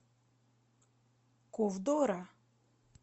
ковдора